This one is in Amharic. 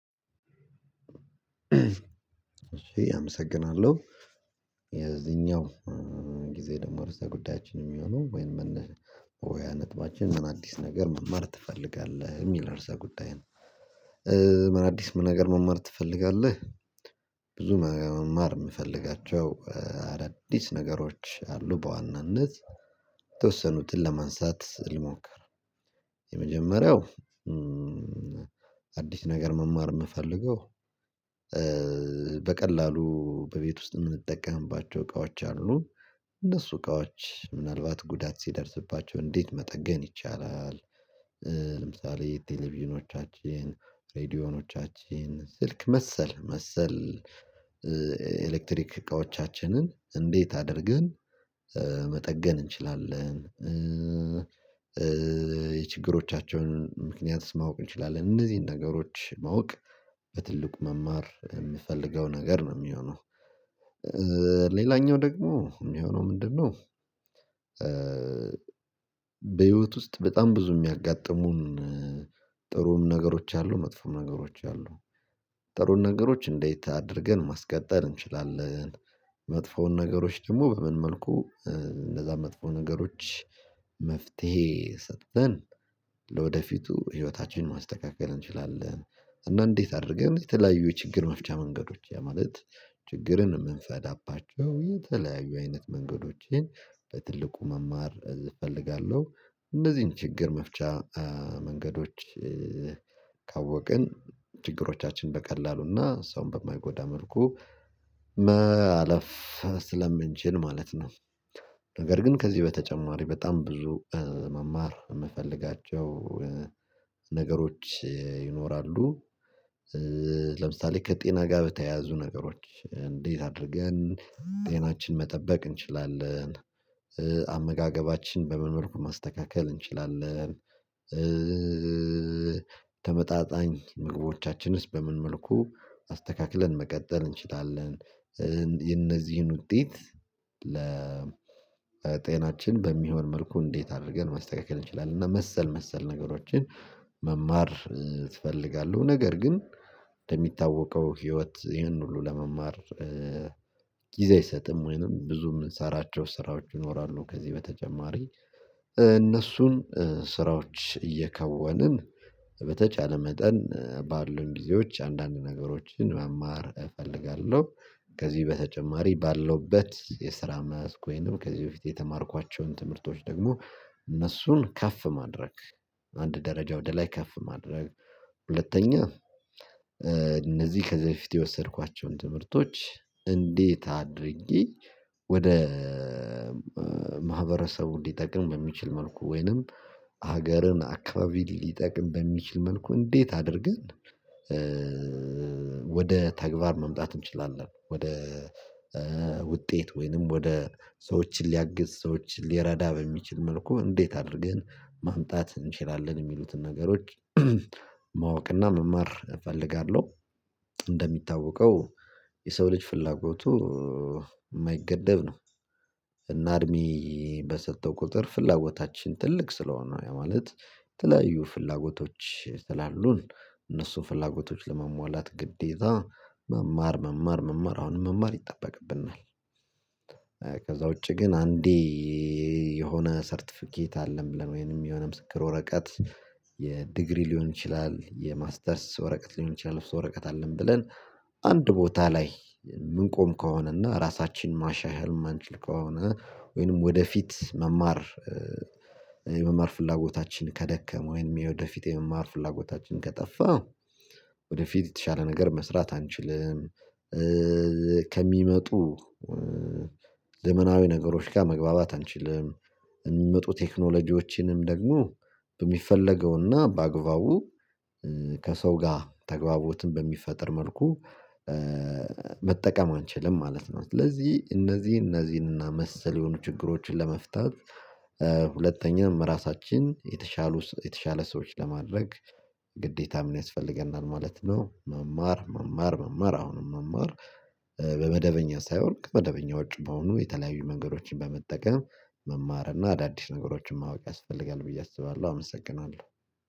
እሺ አመሰግናለሁ የዚኛው ጊዜ ደግሞ እርሳ ጉዳያችን የሚሆነው ወይም መነሻ ወይ አነጥባችን ምን አዲስ ነገር መማር ትፈልጋለህ የሚል እርሳ ጉዳይ ነው። ምን አዲስ ምን ነገር መማር ትፈልጋለህ? ብዙ መማር የምፈልጋቸው አዳዲስ ነገሮች አሉ። በዋናነት የተወሰኑትን ለማንሳት ልሞክር የመጀመሪያው አዲስ ነገር መማር የምፈልገው በቀላሉ በቤት ውስጥ የምንጠቀምባቸው እቃዎች አሉ እነሱ እቃዎች ምናልባት ጉዳት ሲደርስባቸው እንዴት መጠገን ይቻላል? ለምሳሌ ቴሌቪዥኖቻችን ሬዲዮኖቻችን ስልክ መሰል መሰል ኤሌክትሪክ እቃዎቻችንን እንዴት አድርግን መጠገን እንችላለን። የችግሮቻቸውን ምክንያት ማወቅ እንችላለን እነዚህን ነገሮች ማወቅ በትልቁ መማር የምፈልገው ነገር ነው የሚሆነው ሌላኛው ደግሞ የሚሆነው ምንድነው? በህይወት ውስጥ በጣም ብዙ የሚያጋጥሙን ጥሩም ነገሮች አሉ መጥፎም ነገሮች አሉ ጥሩም ነገሮች እንዴት አድርገን ማስቀጠል እንችላለን? መጥፎውን ነገሮች ደግሞ በምን መልኩ እንደዛ መጥፎ ነገሮች መፍትሄ ሰጥተን ለወደፊቱ ህይወታችንን ማስተካከል እንችላለን። እና እንዴት አድርገን የተለያዩ የችግር መፍቻ መንገዶች ያ ማለት ችግርን የምንፈዳባቸው የተለያዩ አይነት መንገዶችን በትልቁ መማር እፈልጋለሁ እነዚህን ችግር መፍቻ መንገዶች ካወቅን ችግሮቻችን በቀላሉና ሰውን በማይጎዳ መልኩ መአለፍ ስለምንችን ማለት ነው። ነገር ግን ከዚህ በተጨማሪ በጣም ብዙ መማር የምፈልጋቸው ነገሮች ይኖራሉ። ለምሳሌ ከጤና ጋር በተያያዙ ነገሮች እንዴት አድርገን ጤናችን መጠበቅ እንችላለን? አመጋገባችን በመመልኩ ማስተካከል እንችላለን። ተመጣጣኝ ምግቦቻችንስ በምን መልኩ አስተካክለን መቀጠል እንችላለን? የነዚህን እነዚህን ውጤት ለጤናችን በሚሆን መልኩ እንዴት አድርገን ማስተካከል እንችላለን እና መሰል መሰል ነገሮችን መማር ትፈልጋለሁ። ነገር ግን እንደሚታወቀው ህይወት ይህን ሁሉ ለመማር ጊዜ አይሰጥም ወይንም ብዙ የምንሰራቸው ስራዎች ይኖራሉ ከዚህ በተጨማሪ እነሱን ስራዎች እየከወንን በተቻለ መጠን ባሉን ጊዜዎች አንዳንድ ነገሮችን መማር እፈልጋለሁ። ከዚህ በተጨማሪ ባለውበት የስራ መያዝ ወይንም ከዚህ በፊት የተማርኳቸውን ትምህርቶች ደግሞ እነሱን ከፍ ማድረግ አንድ ደረጃ ወደ ላይ ከፍ ማድረግ። ሁለተኛ እነዚህ ከዚህ በፊት የወሰድኳቸውን ትምህርቶች እንዴት አድርጌ ወደ ማህበረሰቡ እንዲጠቅም በሚችል መልኩ ወይንም ሀገርን አካባቢ ሊጠቅም በሚችል መልኩ እንዴት አድርግን? ወደ ተግባር መምጣት እንችላለን ወደ ውጤት ወይንም ወደ ሰዎችን ሊያግዝ ሰዎችን ሊረዳ በሚችል መልኩ እንዴት አድርገን ማምጣት እንችላለን የሚሉትን ነገሮች ማወቅና መማር እፈልጋለሁ። እንደሚታወቀው የሰው ልጅ ፍላጎቱ የማይገደብ ነው። እና እድሜ በሰጠው ቁጥር ፍላጎታችን ትልቅ ስለሆነ ማለት የተለያዩ ፍላጎቶች እነሱ ፍላጎቶች ለመሟላት ግዴታ መማር መማር መማር አሁንም መማር ይጠበቅብናል። ከዛ ውጪ ግን አንዴ የሆነ ሰርተፊኬት አለም ብለን ወይም የሆነ ምስክር ወረቀት የዲግሪ ሊሆን ይችላል የማስተርስ ወረቀት ሊሆን ይችላል ወረቀት አለም ብለን አንድ ቦታ ላይ የምንቆም ከሆነና ራሳችን ማሻል ማንችል ከሆነ ወይንም ወደፊት መማር የመማር ፍላጎታችን ከደከመ ወይንም የወደፊት የመማር ፍላጎታችን ከጠፋ ወደፊት የተሻለ ነገር መስራት አንችልም። ከሚመጡ ለመናዊ ነገሮች ጋር መግባባት አንችልም። የሚመጡ ቴክኖሎጂዎችንም ደግሞ በሚፈለገውና በአግባቡ ከሰው ጋር ተግባቦትን በሚፈጥር መልኩ መጠቀም አንችልም ማለት ነው። ስለዚህ እነዚህ እነዚህን እና መሰል የሆኑ ችግሮችን ለመፍታት ሁለተኛም ራሳችን የተሻሉ የተሻለ ሰዎች ለማድረግ ግዴታ ምን ያስፈልገናል ማለት ነው። መማር መማር መማር አሁንም መማር በመደበኛ ሳይወርቅ በመደበኛ ወጪ መሆኑ የተለያዩ መንገዶችን በመጠቀም መማር እና አዳዲስ ነገሮችን ማወቅ ያስፈልጋል ብዬ አስባለሁ አመሰግናለሁ